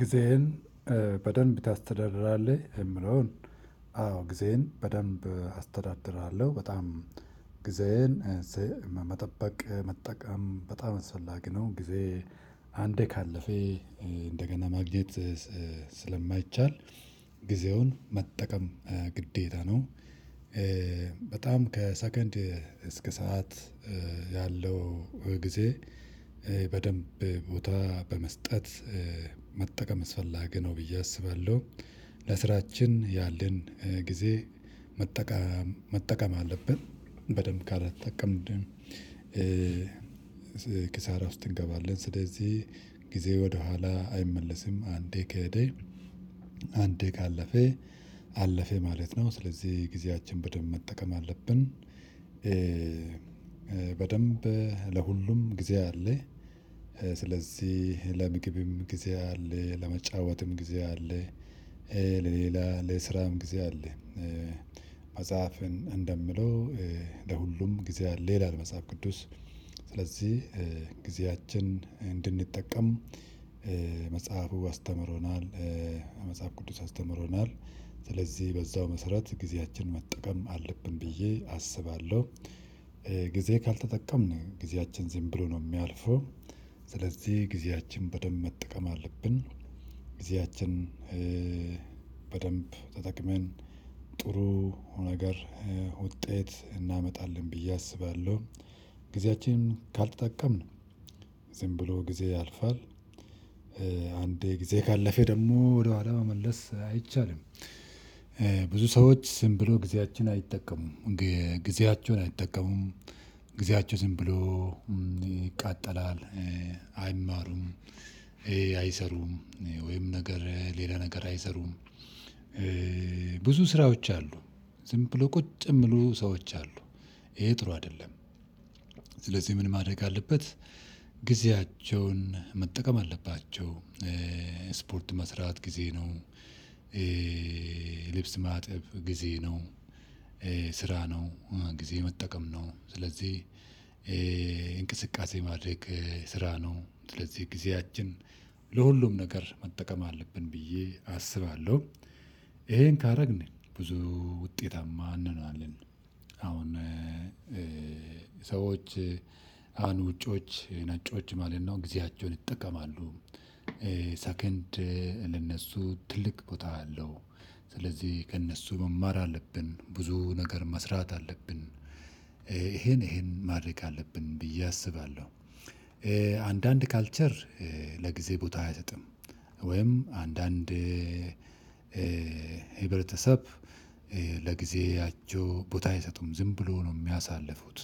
ጊዜህን በደንብ ታስተዳድራለህ የሚለውን? አዎ ጊዜህን በደንብ አስተዳድራለሁ በጣም ጊዜየን መጠበቅ መጠቀም በጣም አስፈላጊ ነው ጊዜ አንዴ ካለፈ እንደገና ማግኘት ስለማይቻል ጊዜውን መጠቀም ግዴታ ነው። በጣም ከሰከንድ እስከ ሰዓት ያለው ጊዜ በደንብ ቦታ በመስጠት መጠቀም አስፈላጊ ነው ብዬ አስባለሁ። ለስራችን ያለን ጊዜ መጠቀም አለብን በደንብ ካልተጠቀምንም ኪሳራ ውስጥ እንገባለን። ስለዚህ ጊዜ ወደኋላ አይመለስም አንዴ ከሄደ አንዴ ካለፈ አለፈ ማለት ነው። ስለዚህ ጊዜያችን በደንብ መጠቀም አለብን። በደንብ ለሁሉም ጊዜ አለ። ስለዚህ ለምግብም ጊዜ አለ ለመጫወትም ጊዜ አለ። ለሌላ ለስራም ጊዜ አለ መጽሐፍን እንደሚለው ለሁሉም ጊዜ አለው ይላል መጽሐፍ ቅዱስ። ስለዚህ ጊዜያችን እንድንጠቀም መጽሐፉ አስተምሮናል። መጽሐፍ ቅዱስ አስተምሮናል ስለዚህ በዛው መሰረት ጊዜያችን መጠቀም አለብን ብዬ አስባለሁ። ጊዜ ካልተጠቀምን ጊዜያችን ዝም ብሎ ነው የሚያልፈው። ስለዚህ ጊዜያችን በደንብ መጠቀም አለብን። ጊዜዎችን በደንብ ተጠቅመን ጥሩ ነገር ውጤት እናመጣለን ብየ አስባለሁ። ጊዜያችንን ካልተጠቀምን ዝም ብሎ ጊዜ ያልፋል። አንዴ ጊዜ ካለፈ ደግሞ ወደኋላ መመለስ አይቻልም። ብዙ ሰዎች ዝም ብሎ ጊዜያቸውን አይጠቀሙም። ጊዜያቸውን አይጠቀሙም ጊዜያቸው ዝም ብሎ ይቃጠላል አይማሩም። አይሰሩም ወይም ነገር ሌላ ነገር አይሰሩም። ብዙ ስራዎች አሉ። ዝም ብሎ ቁጭ የሚሉ ሰዎች አሉ። ይሄ ጥሩ አይደለም። ስለዚህ ምን ማድረግ አለበት? ጊዜያቸውን መጠቀም አለባቸው። ስፖርት መስራት ጊዜ ነው። ልብስ ማጠብ ጊዜ ነው። ስራ ነው ጊዜ መጠቀም ነው ስለዚህ። እንቅስቃሴ ማድረግ ስራ ነው። ስለዚህ ጊዜያችን ለሁሉም ነገር መጠቀም አለብን ብዬ አስባለሁ። ይሄን ካደረግን ብዙ ውጤታማ እንሆናለን። አሁን ሰዎች አሁን ውጪዎች ነጮች ማለት ነው ጊዜያቸውን ይጠቀማሉ። ሰከንድ ለነሱ ትልቅ ቦታ አለው። ስለዚህ ከእነሱ መማር አለብን ብዙ ነገር መስራት አለብን። ይሄን ይሄን ማድረግ አለብን ብዬ አስባለሁ። አንዳንድ ካልቸር ለጊዜ ቦታ አይሰጥም። ወይም አንዳንድ ህብረተሰብ ለጊዜአቸው ቦታ አይሰጡም ዝም ብሎ ነው የሚያሳልፉት።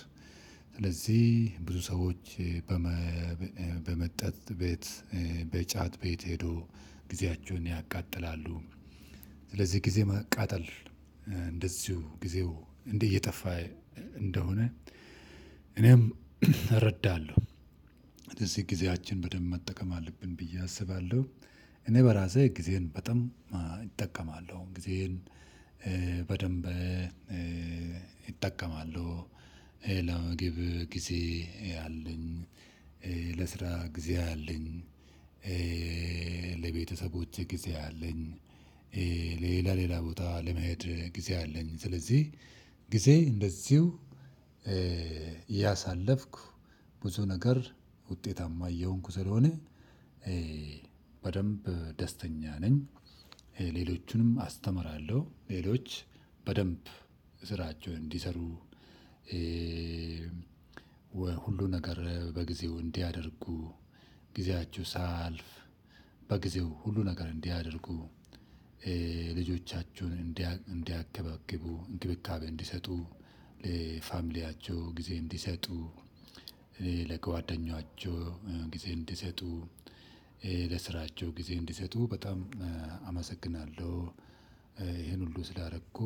ስለዚህ ብዙ ሰዎች በመጠጥ ቤት በጫት ቤት ሄዶ ጊዜያቸውን ያቃጥላሉ። ስለዚህ ጊዜ ማቃጠል እንደዚሁ ጊዜው እንዴት እየጠፋ እንደሆነ። እኔም እረዳለሁ። ስለዚህ ጊዜያችን በደንብ መጠቀም አለብን ብዬ አስባለሁ። እኔ በራሴ ጊዜየን በጣም እጠቀማለሁ ጊዜየን በደንብ እጠቀማለሁ። ለምግብ ጊዜ አለኝ። ለስራ ጊዜ አለኝ። ለቤተሰቦቼ ጊዜ አለኝ። ሌላ ቦታ ለመሄድ ጊዜ አለኝ ስለዚህ። ጊዜ እንደዚሁ ያሳለፍኩ ብዙ ነገር ውጤታማ እየሆንኩ ስለሆነ በደንብ ደስተኛ ነኝ። ሌሎቹንም አስተምራለሁ ሌሎች በደንብ ስራቸውን እንዲሰሩ። ሁሉ ነገር በጊዜው እንዲያደርጉ ጊዜያቸው ሳያልፍ በጊዜው ሁሉን ነገር እንዲያደርጉ። እንዲንከባከቡ እንክብካቤ እንዲሰጡ ለፋሚሊያቸው ጊዜ እንዲሰጡ። ለጓደኛቸው ጊዜ እንዲሰጡ። ለስራቸው ጊዜ እንዲሰጡ በጣም አመሰግናለሁ ይሄን ሁሉ ስላረኩ